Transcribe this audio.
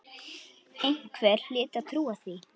Einhver hlyti að trúa því.